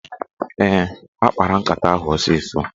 Ee, ha kpara nkata ahụ osịsọ.